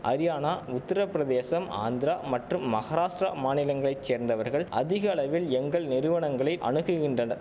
அரியானா உத்திரபிரதேசம் ஆந்திரா மற்றும் மகாராஷ்டிரா மாநிலங்களை சேர்ந்தவர்கள் அதிக அளவில் எங்கள் நிறுவனங்களை அணுகுகின்றட